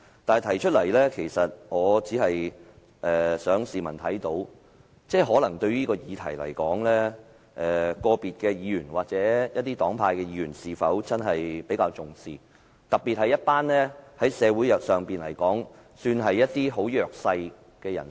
我提出來的目的，只想市民看到，個別議員或一些黨派的議員對這議題是否真的比較重視，特別是社會上比較弱勢的一群人。